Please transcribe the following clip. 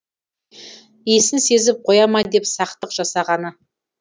иісін сезіп қоя ма деп сақтық жасағаны